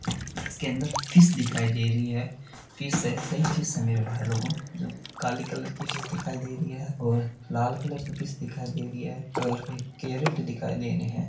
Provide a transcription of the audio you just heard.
इसके अंदर फिश दिखाई रही है कई फिश है मेरे भाई लोग जो काले कलर की दिखाई दे रही है और लाल कलर की दिखाई दे रही है कैरट दिखाई दे रहा है।